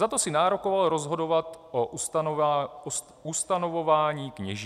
Za to si nárokoval rozhodovat o ustanovování kněží.